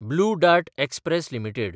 blue Dart Express limited